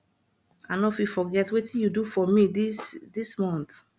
i no fit forget wetin you do for me this this month